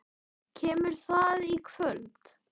Kemur það í kvöld?